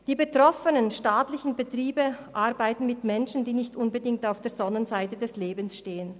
Die betroffenen staatlichen Betriebe arbeiten mit Menschen, die nicht unbedingt auf der Sonnenseite des Lebens stehen.